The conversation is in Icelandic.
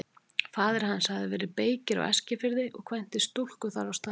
Faðir hans hafði verið beykir á Eskifirði og kvæntist stúlku þar á staðnum.